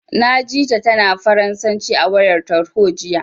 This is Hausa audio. Na ji ta, tana Faransanci a wayar tarho, jiya.